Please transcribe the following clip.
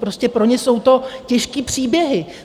Prostě pro ně jsou to těžké příběhy.